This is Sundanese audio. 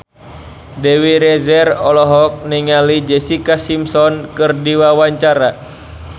Dewi Rezer olohok ningali Jessica Simpson keur diwawancara